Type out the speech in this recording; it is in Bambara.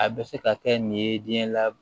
A bɛ se ka kɛ nin ye denɲɛ la